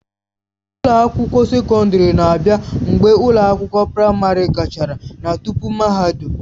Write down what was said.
Ụlọ akwụkwọ sekọndrị na-abịa mgbe ụlọ akwụkwọ praịmarị gachara na tupu mahadum.